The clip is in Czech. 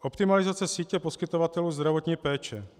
Optimalizace sítě poskytovatelů zdravotní péče.